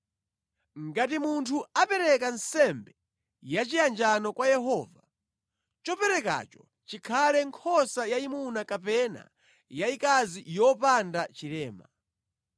“ ‘Ngati munthu apereka nsembe ya chiyanjano kwa Yehova, choperekacho chikhale nkhosa yayimuna kapena yayikazi yopanda chilema.